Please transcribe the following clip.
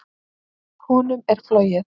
Honum er flogið.